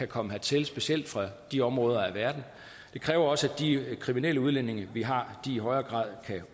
komme hertil specielt fra de områder af verden det kræver også at de kriminelle udlændinge vi har i højere grad kan